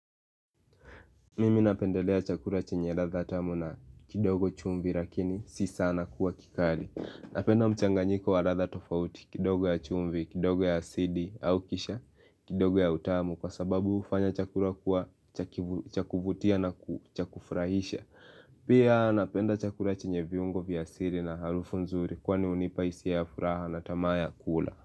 Mimi napendelea chakula chenye ladha tamu na kidogo chumvi lakini si sana kuwa kikali. Napenda mchanganyiko wa ladha tofauti, kidogo ya chumvi, kidogo ya asidi au kisha, kidogo ya utamu kwa sababu hufanya chakula kuwa cha kuvutia na cha kufurahisha. Pia napenda chakula chenye viungo vya asili na harufu nzuri kwani hunipa hisia ya furaha na tamaa ya kula.